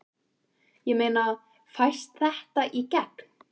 Ég meina, fæst þetta í gegn?